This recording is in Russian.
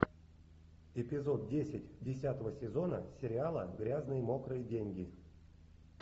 эпизод десять десятого сезона сериала грязные мокрые деньги